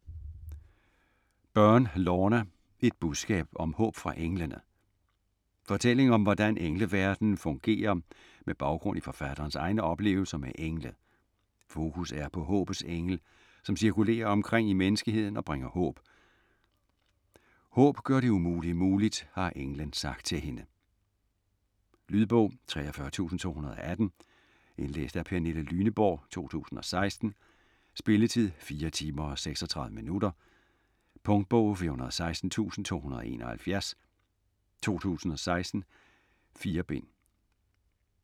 Byrne, Lorna: Et budskab om håb fra englene Fortælling om hvordan engleverdenen fungerer med baggrund i forfatterens egne oplevelser med engle. Fokus er på håbets engel, som cirkulerer omkring i menneskeheden og bringer håb. "Håb gør det umulige muligt", har englen sagt til hende. Lydbog 43218 Indlæst af Pernille Lyneborg, 2016. Spilletid: 4 timer, 36 minutter. Punktbog 416271 2016. 4 bind.